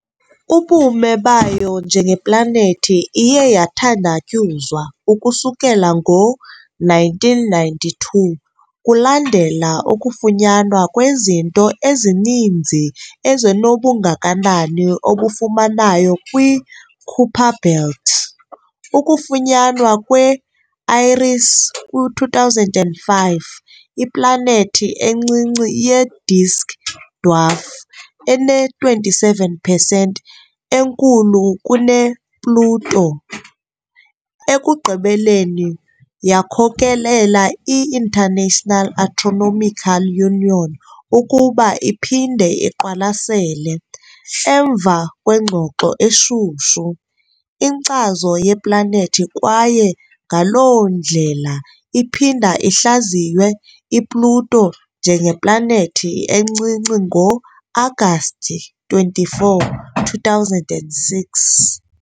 Ubume bayo njengeplanethi iye yathandatyuzwa ukusukela ngo-1992 kulandela ukufunyanwa kwezinto ezininzi ezinobungakanani obufanayo kwi-Kuiper Belt, ukufunyanwa kwe -Eris kwi-2005, iplanethi encinci ye-disk dwarf ene-27 pesenti enkulu kune-Pluto, ekugqibeleni yakhokelela i- International Astronomical Union ukuba iphinde iqwalasele - emva kwengxoxo eshushu - inkcazo yeplanethi kwaye ngaloo ndlela iphinda ihlaziywe iPluto njengeplanethi encinci ngo-Agasti 24., 2006.